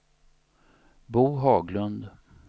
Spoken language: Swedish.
Bo Haglund